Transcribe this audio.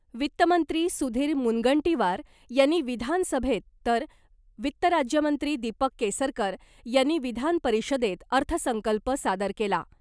वित्तमंत्री सुधीर मुनगंटीवार यांनी विधान सभेत तर वित्त राज्यमंत्री दीपक केसरकर यांनी विधान परिषदेत अर्थसंकल्प सादर केला .